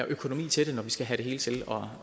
økonomi til det når vi skal have det hele til